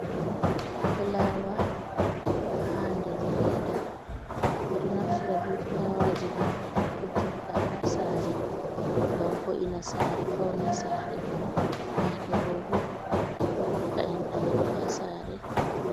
Fulaawa haa nder leeda, ɓeɗon naftira bee fulaawaaji ɗoo ɓe tigga haa saare, ngam wo'ina saare fauna saare, yaake goo boo ɗo hokka ɗaudi haa saare.